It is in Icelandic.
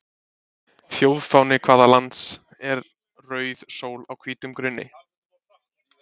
Þjóðfáni hvaða lands er rauð sól á hvítum grunni?